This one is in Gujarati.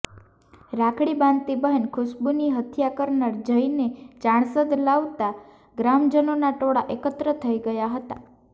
રાખડી બાંધતી બહેન ખુશ્બુની હત્યા કરનાર જયને ચાણસદ લવાતા ગ્રામજનોના ટોળા એકત્ર થઈ ગયાં હતાં